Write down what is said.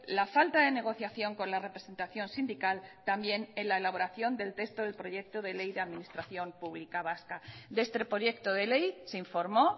la falta de negociación con la representación sindical también en la elaboración del texto del proyecto de ley de administración pública vasca de este proyecto de ley se informó